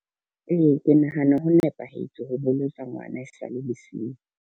Ee, ke nahana ho nepahetse ho boloka ngwana e sa le lesea.